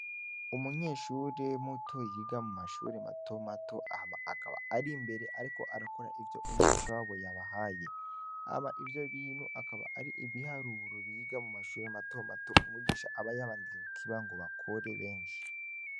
Umunyeshure muto yiga mu mashuri mato mato hama akaba ari mbere, ariko arakora ivyo umwigisha wabo yabahaye, hama ivyo binu akaba ari ibiharuro biga mu mashuri mato mato umwigisha aba yabandike kukiba ngo bakore benshi.